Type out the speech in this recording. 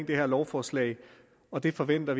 det her lovforslag og vi forventer